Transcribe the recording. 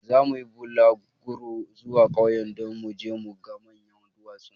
Zamu yi bulaguro zuwa ƙauyen don mu je mu ga manyan duwatsun.